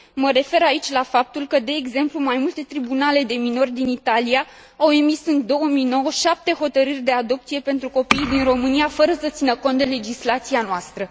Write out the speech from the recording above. Mă refer aici la faptul că, de exemplu, mai multe tribunale de minori din Italia au emis în 2009 șapte hotărâri de adopție pentru copii din România, fără să țină cont de legislația noastră.